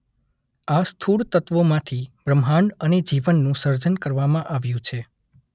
આ સ્થૂળ તત્વોમાંથી બ્રહ્માંડ અને જીવનનું સર્જન કરવામાં આવ્યું છે.